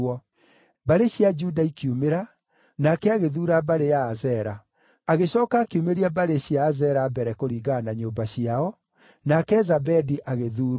Mbarĩ cia Juda ikiumĩra, nake agĩthuura mbarĩ ya Azera. Agĩcooka akiumĩria mbarĩ cia Azera mbere kũringana na nyũmba ciao, nake Zabedi agĩthuurwo.